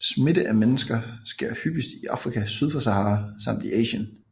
Smitte af mennesker sker hyppigst i Afrika syd for Sahara samt i Asien